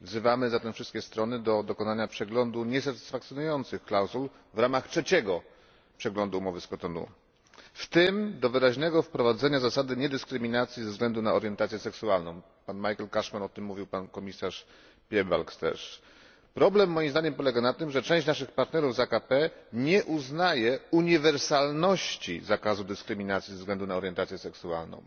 Wzywamy zatem wszystkie strony do dokonania przeglądu niesatysfakcjonujących klauzul w ramach trzeciego przeglądu umowy z Kotonu, w tym do wyraźnego wprowadzenia zasady niedyskryminacji ze względu na orientację seksualną. Mówił o tym pan Michael Cashman i pan komisarz Piebalgs. Problem, moim zdaniem, polega na tym, że część naszych partnerów z państw AKP nie uznaje uniwersalności zakazu dyskryminacji ze względu na orientację seksualną.